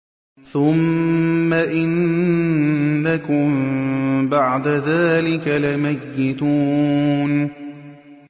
ثُمَّ إِنَّكُم بَعْدَ ذَٰلِكَ لَمَيِّتُونَ